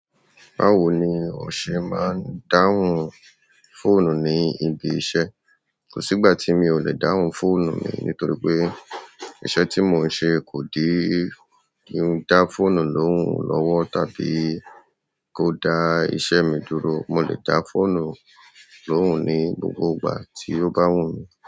Báwo ni ọ̀ sẹ̀ máa ń dáhùn fóònù ní ibi iṣẹ́? Kò sí ìgbà tí mi ò le dáhùn fóònù mi nítorí pé iṣẹ́ tí mò ń ṣe kò di kín dá fóònù lóhùn lọ́wọ́ tàbí kó dá iṣẹ́ mi dúró. Mo lè dá fóònù lóhùn ní gbogbo ìgbà tí ó bá wù mí.